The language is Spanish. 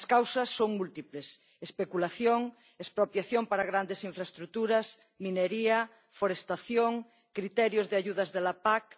Las causas son múltiples especulación, expropiación para grandes infraestructuras, minería, forestación, criterios de ayudas de la PAC...